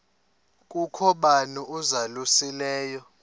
kukho bani uzalusileyo